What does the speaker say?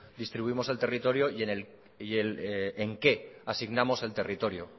distribuimos el territorio y en qué asignamos el territorio